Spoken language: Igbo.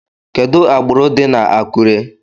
Kedu agbụrụ dị na Akure?